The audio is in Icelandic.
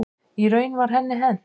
Í raun var henni hent.